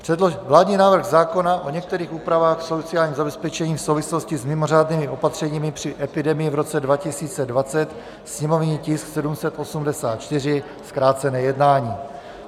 Vládní návrh zákona o některých úpravách v sociálním zabezpečení v souvislosti s mimořádnými opatřeními při epidemii v roce 2020, sněmovní tisk 784, zkrácené jednání.